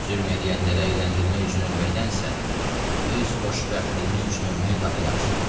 Zülm eləyənlərə əyləndirmək üçün ölməkdənsə, öz xoşbəxtliyimiz üçün ölmək daha yaxşıdır.